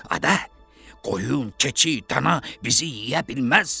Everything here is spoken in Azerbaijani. Ada, qoyun, keçi, dana bizi yeyə bilməz.